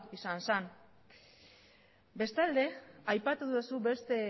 izan zen bestalde aipatu duzu beste